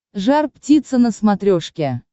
жар птица на смотрешке